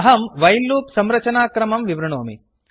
अहं while loop संरचनाक्रमं विवृणोमि